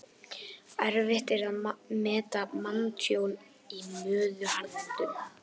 Erfitt er að meta manntjón í móðuharðindum.